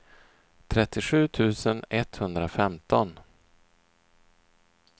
trettiosju tusen etthundrafemton